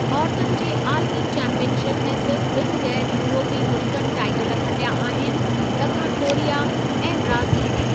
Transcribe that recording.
औरतुनि जे आलमी चैंपीयन शिप में सिर्फ़ ॿिनि ग़ैरु यूरोपी मुल्कनि टाईटल खटिया आहिनि ॾखणु कोरिया ऐं ब्राज़ील।